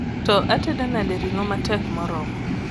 to atedo nade ringo ma tek moromo